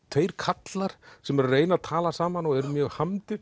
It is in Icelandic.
tveir karlar sem eru að reyna að tala saman og eru mjög